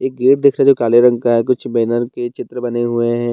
एक गेट दिख रही है जो काले रंग का है कुछ बैनर के चित्र बने हुए हैं।